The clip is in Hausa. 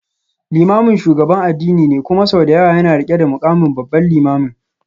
Limamin shugaban addini ne kuma sau da yawa yana rike da mukamin Babban Limamin.